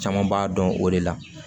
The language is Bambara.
Caman b'a dɔn o de la